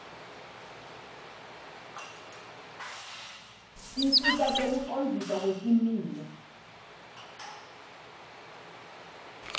tinsita tekucondziswa kwesimilo